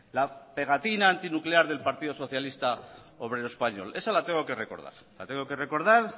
la pegatina antinuclear del partido socialista obrero español esa la tengo que recordar la tengo que recordar